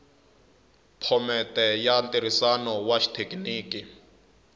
phomete ya ntirhisano wa xithekiniki